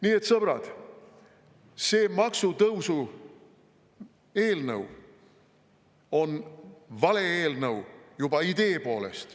Nii et, sõbrad, see maksutõusu eelnõu on vale juba idee poolest.